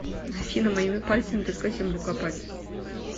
афина моими пальцами только землю копать